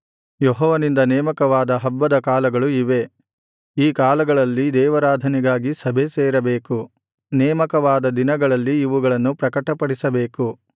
ಯೆಹೋವನಿಂದ ನೇಮಕವಾದ ಹಬ್ಬದ ಕಾಲಗಳು ಇವೇ ಈ ಕಾಲಗಳಲ್ಲಿ ದೇವಾರಾಧನೆಗಾಗಿ ಸಭೆಸೇರಬೇಕು ನೇಮಕವಾದ ದಿನಗಳಲ್ಲಿ ಇವುಗಳನ್ನು ಪ್ರಕಟಪಡಿಸಬೇಕು